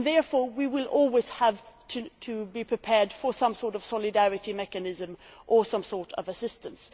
Therefore we will always have to be prepared for some sort of solidarity mechanism or some sort of assistance.